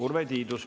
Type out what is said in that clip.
Urve Tiidus.